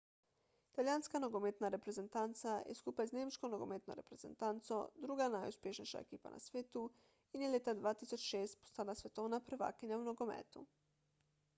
italijanska nogometna reprezentanca je skupaj z nemško nogometno reprezentanco druga najuspešnejša ekipa na svetu in je leta 2006 postala svetovna prvakinja v nogometu